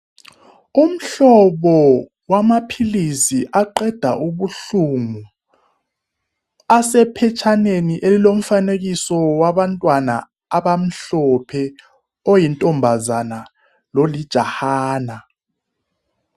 Umhlobo wamaphilizi aqeda ubuhlungu asephetshaneni elilomfanekiso wabantwana abamhlophe oyinkazana lolijahana.